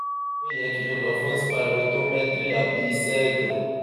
o yẹ ki o lọ fun spirometry tabi iṣẹ ẹdọ